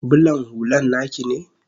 bulan hullan naki ne?